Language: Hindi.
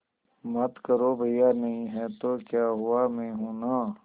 मत करो भैया नहीं हैं तो क्या हुआ मैं हूं ना